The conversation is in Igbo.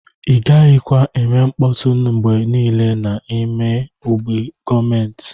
Igaghi kwa eme nkpọtụ ngbe nile na ime ogbe gọọmenti.